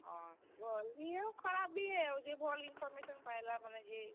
ହଁ, ଭଲ୍ ବି ଆଉ ଖରାପ୍ ବି ଏ ଆଉ ଯେ ଭଲ୍ information ପାଏଲା ମାନେ ଯେ।